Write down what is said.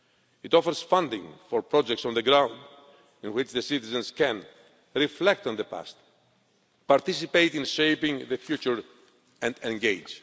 It offers funding for projects on the ground, in which the citizens can reflect on the past, participate in shaping the future and engage.